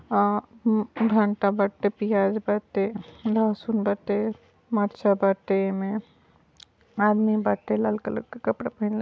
अ म्म भंटा बाटे पियाज बाटे लहसुन बाटे मारिचा बाटे एमे। आदमी बाटे। लाल कलर क कपड़ा पहीनले --